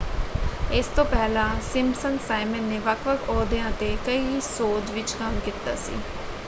ਇਸ ਤੋਂ ਪਹਿਲਾਂ ਸਿੰਪਸਨ ਸਾਈਮਨ ਨੇ ਵੱਖ-ਵੱਖ ਅਹੁਦਿਆਂ 'ਤੇ ਕਈ ਸ਼ੋਜ਼ ਵਿੱਚ ਕੰਮ ਕੀਤਾ ਸੀ।